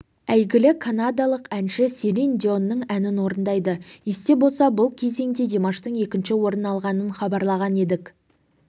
әйгілі канадалық әнші селин дионның әнін орындайды есте болса бұл кезеңде димаштың екінші орын алғанын хабарлаған едік